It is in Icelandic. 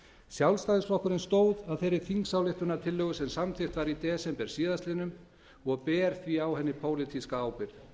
sjálfstæðisflokkurinn stóð að þeirri þingsályktunartillögu sem samþykkt var í desember síðastliðinn og ber því á henni pólitíska ábyrgð